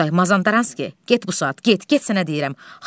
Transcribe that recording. Oqtay, Mazandaranski, get bu saat, get, get sənə deyirəm.